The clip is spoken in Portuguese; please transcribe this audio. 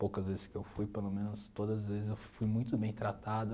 Poucas vezes que eu fui, pelo menos todas as vezes eu fui muito bem tratado.